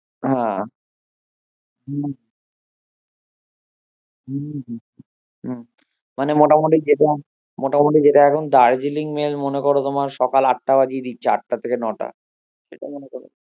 হ্যাঁ মানে মোটামুটি মোটামুটি যেটা এখন দার্জিলিং মেল্ মনে করো তোমার সকাল আটটা বাজিয়ে দিচ্ছে আটটা থেকে নোটা